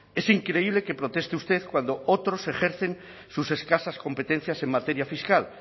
es increíble que proteste usted cuando otros ejercen sus escasas competencias en materia fiscal